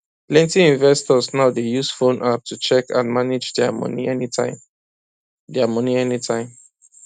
plenty investors now dey use phone app to check and manage dia money anytime dia money anytime